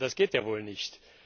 Das geht ja wohl nicht.